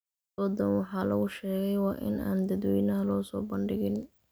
Dooddan wax lagu sheegay waa in aan dadweynaha loo soo bandhigin.